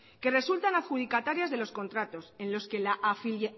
que resultan adjudicatarias de los contratos en los que la